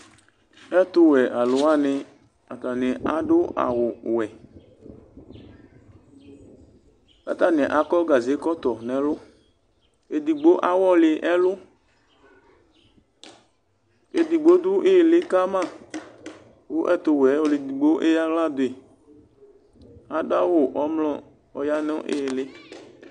ɛtuwɛ alu wani atani adu awu wɛku atani akɔ gaze kɔtɔ nu ɛluedigbo awɔli ɛluedigbo dʋ iɣili kamaku ɛtuwɛ ayiʋ ɔlu edigbo eya aɣla duyiadu awu ɔmlɔ ku ɔya nu aɣili